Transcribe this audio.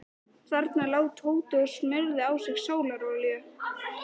Þarna lá Tóti og smurði á sig sólarolíu.